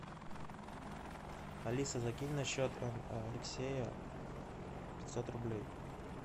алиса закинь на счет алексея пятьсот рублей